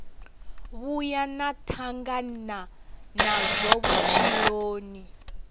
vhuya na tangana nazwo vhutshiloni